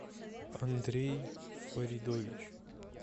андрей фаридович